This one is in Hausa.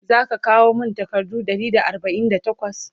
zaka kawo min takardu Ɗari da arbain da takwas?